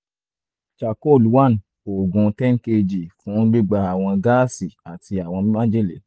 charcoal one òògùn ten kg fún gbígba àwọn gáàsì àti àwọn májèlé